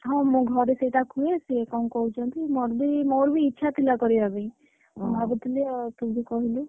ହଁ, ମୁଁ ଘରେ ସେଇ କଥା କୁହେ ସେ କଣ କହୁଛନ୍ତି ମୋର ବି ମୋର ବି ଇଚ୍ଛା ଥିଲା କରିବା ପାଇଁ, ମୁଁ ଭାବୁଥିଲି ତୁ ବି କହିଲୁ।